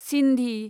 Sindhi